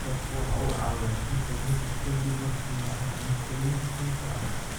Malabka waxa uu caawiyaa sunta jirka ka dib marka la cuno cuntooyinka sunta ah.